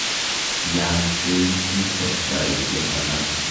Yaaksei nitok saisyek alak.